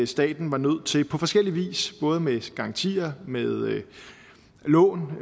staten var nødt til på forskellig vis både med garantier med lån